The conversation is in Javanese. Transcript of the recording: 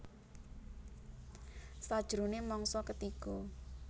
Sajroné mangsa ketiga